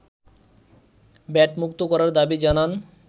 ভ্যাটমুক্ত করার দাবি জানান